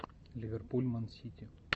ливерпуль ман сити